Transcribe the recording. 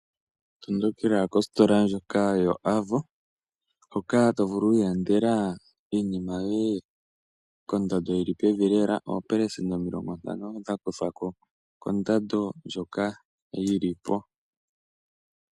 Tondokela kositola ndjoka yo Avo, hoka to vulu wu ilandela iinima yoye kondando yi li pevi lela, oopelesenda omilongo ntano dha kuthwako kondando ndjoka yi li po.